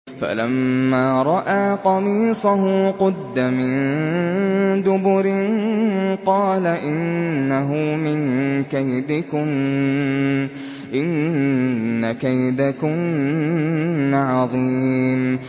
فَلَمَّا رَأَىٰ قَمِيصَهُ قُدَّ مِن دُبُرٍ قَالَ إِنَّهُ مِن كَيْدِكُنَّ ۖ إِنَّ كَيْدَكُنَّ عَظِيمٌ